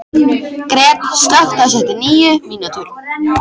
Gret, slökktu á þessu eftir níu mínútur.